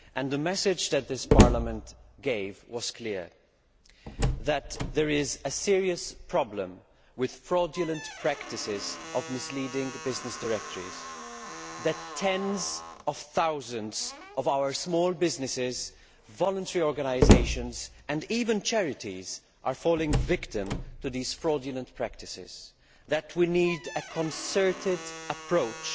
The message that this Parliament gave was clear that there is a serious problem with fraudulent practices by misleading business directories, that tens of thousands of our small businesses, voluntary organisations, and even charities, are falling victim to these fraudulent practices, and that we need a concerted approach